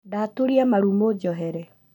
Ndaturia maru mũnjohere